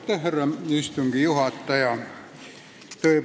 Härra istungi juhataja!